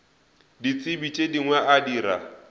ditsebi tše dingwe a dira